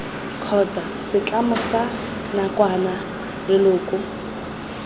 kgotsa setlamo sa nakwana leloko